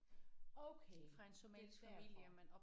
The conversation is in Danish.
Okay det er derfor